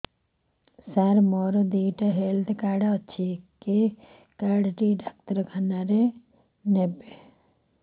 ସାର ମୋର ଦିଇଟା health card ଅଛି କେ କାର୍ଡ ଟି ଡାକ୍ତରଖାନା ରେ ନେବେ